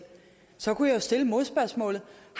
så kunne jeg jo stille modspørgsmålet